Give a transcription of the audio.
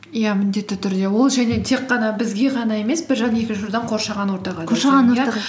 иә міндетті түрде ол және тек қана бізге ғана емес қоршаған ортаға да